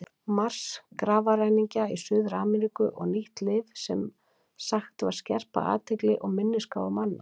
Mars, grafarræningja í Suður-Ameríku og nýtt lyf sem sagt var skerpa athygli og minnisgáfu manna.